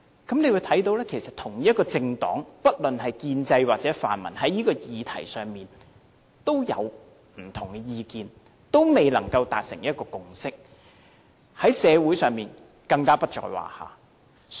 大家可以看到不論是建制派或泛民主派，同一政黨在這個議題上也有不同意見，仍未達成共識，而在社會上更不在話下。